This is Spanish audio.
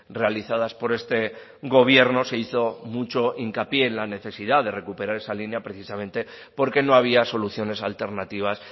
realizadas por este gobierno se hizo mucho hincapié en la necesidad de recuperar esa línea precisamente porque no había soluciones alternativas